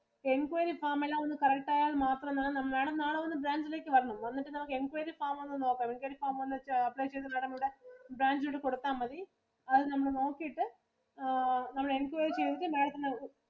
Inquiry form എല്ലാം ഒന്ന് correct ആയാ മാത്രം മതി Madam. Madam നാളെ ഒന്ന് bank ഇലേക്ക് വരണം. വന്നിട്ടു നമുക്ക് inquiry form ഒന്ന് നോക്കണം. Inquiry form എന്ന് വെച്ചാ apply ചെയ്ത branch ഇലൂടെ കൊടുത്ത മതി. അത് നമ്മള് നോക്കിയിട്ട് നമ്മള് inquiry ചെയ്തിട്ട് Madam ത്തിനു